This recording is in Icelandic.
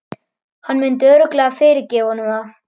Hann myndi örugglega fyrirgefa honum það.